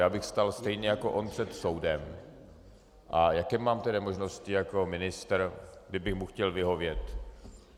Já bych stál zřejmě jako on před soudem - a jaké mám tedy možnosti jako ministr, kdybych mu chtěl vyhovět?